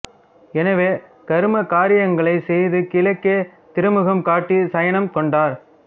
எனவே கரும காரியங்களை செய்து கிழக்கே திருமுகம் காட்டி சயனம் கொண்டார்